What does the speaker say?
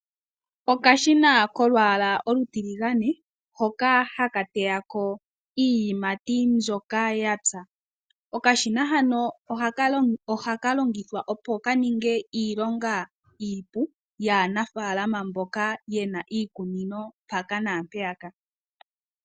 Okashina kolwaala olutiligane hoka haka teyako iiyimati mbyoka yapya. Okashina hano ohaka longithwa opo kaninge iilonga iipu yaanafaalama mboka yena iikunino mpaka naampeyaka.